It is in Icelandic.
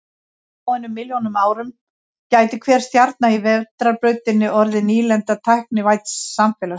Á fáeinum milljónum árum gæti hver stjarna í Vetrarbrautinni orðið nýlenda tæknivædds samfélags.